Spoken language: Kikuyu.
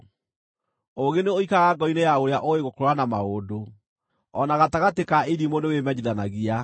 Ũũgĩ nĩ ũikaraga ngoro-inĩ ya ũrĩa ũũĩ gũkũũrana maũndũ, o na gatagatĩ ka irimũ nĩwĩmenyithanagia.